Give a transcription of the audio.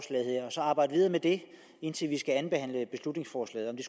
så arbejde videre med det indtil vi skal andenbehandle beslutningsforslaget det